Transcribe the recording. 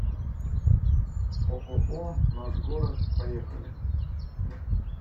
ооо наш город поехали